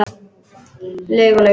Laug og laug.